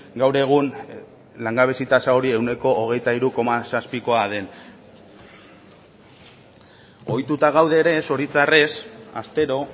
gaur egun langabezi tasa hori ehuneko hogeita hiru koma zazpikoa den ohituta gaude ere zoritzarrez astero